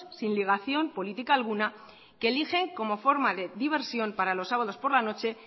sin ligación política alguna que eligen como forma de diversión para los sabados por la noche